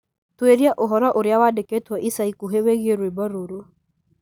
tũũria ũhoro ũrĩa wandĩkitwo ica ikuhĩ wĩgiĩ rwĩmbo rũu